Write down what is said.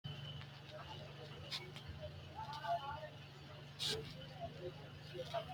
Siccu aano addi addi horo maati siccu mitte gobbara aano addi addi kaa'lo maati beetu sicco cumire leelani noohu mayiirati